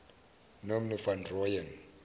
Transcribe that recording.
nomnu van rooyen